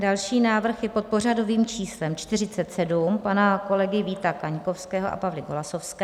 Další návrh je pod pořadovým číslem 47 pana kolegy Víta Kaňkovského a Pavly Golasowské.